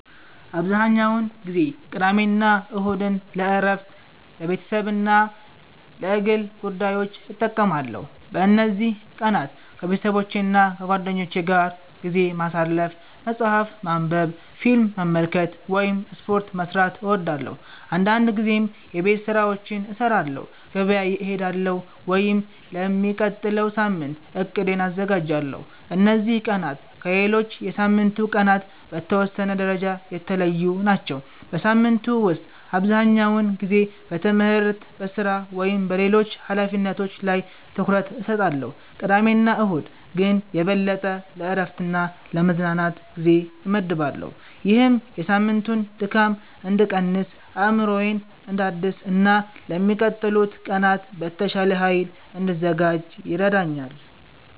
**"አብዛኛውን ጊዜ ቅዳሜና እሁድን ለእረፍት፣ ለቤተሰብ እና ለግል ጉዳዮች እጠቀማለሁ። በእነዚህ ቀናት ከቤተሰቦቼና ከጓደኞቼ ጋር ጊዜ ማሳለፍ፣ መጽሐፍ ማንበብ፣ ፊልም መመልከት ወይም ስፖርት መስራት እወዳለሁ። አንዳንድ ጊዜም የቤት ስራዎችን እሰራለሁ፣ ገበያ እሄዳለሁ ወይም ለሚቀጥለው ሳምንት እቅዴን አዘጋጃለሁ። እነዚህ ቀናት ከሌሎች የሳምንቱ ቀናት በተወሰነ ደረጃ የተለዩ ናቸው። በሳምንቱ ውስጥ አብዛኛውን ጊዜ በትምህርት፣ በሥራ ወይም በሌሎች ኃላፊነቶች ላይ ትኩረት እሰጣለሁ፣ ቅዳሜና እሁድ ግን የበለጠ ለእረፍትና ለመዝናናት ጊዜ እመድባለሁ። ይህም የሳምንቱን ድካም እንድቀንስ፣ አእምሮዬን እንዳድስ እና ለሚቀጥሉት ቀናት በተሻለ ኃይል እንድዘጋጅ ይረዳኛል።"